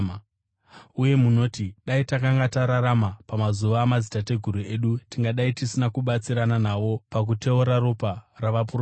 Uye moti, ‘Dai takanga tararama pamazuva amadzitateguru edu, tingadai tisina kubatsirana navo pakuteura ropa ravaprofita.’